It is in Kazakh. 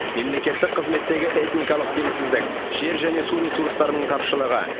мемлекеттік қызметтегі этникалық теңсіздік жер және су ресурстарының тапшылығы